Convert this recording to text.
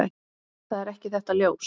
Það er ekki þetta ljós.